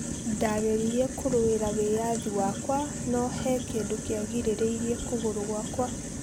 Ndageririe kũrũera wiathi wakwa no hĩ kindũ kĩangirereirĩe kũgũrũ guakua